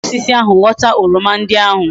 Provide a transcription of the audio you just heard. E si lam na osisi ahu ghota oroma ndi ahu